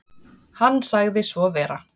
Hann sagði svo vera.